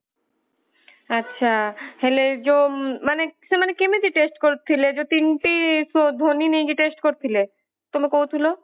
ଆଚ୍ଛା ହେଲେ ଯୋଊ ମାନେ ସେମାନେ କେମିତି test କରୁଥିଲେ ଯୋଊ ତିନୋଟି ସ୍ଵ ଧ୍ୱନି ନେଇକି test କରୁଥିଲେ ତୁମେ କହୁଥିଲ